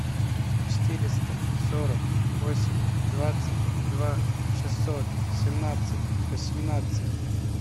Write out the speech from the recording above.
четыреста сорок восемь двадцать два шестьсот семнадцать восемнадцать